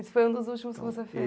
Esse foi um dos últimos que você fe...